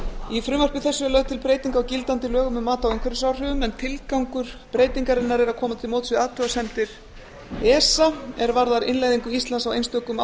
í frumvarpi þessu er lögð til breyting á gildandi lögum um mat á umhverfisáhrifum en tilgangur breytingarinnar er að koma til móts við athugasemdir esa er varðar innleiðingu íslands á einstökum